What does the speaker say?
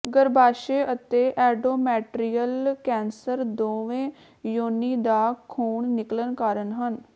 ਗਰੱਭਾਸ਼ਯ ਅਤੇ endometrial cancer ਦੋਵੇਂ ਯੋਨੀ ਦਾ ਖੂਨ ਨਿਕਲਣ ਕਾਰਨ ਹਨ